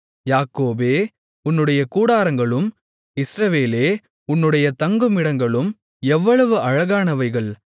யாக்கோபே உன்னுடைய கூடாரங்களும் இஸ்ரவேலே உன்னுடைய தங்குமிடங்களும் எவ்வளவு அழகானவைகள்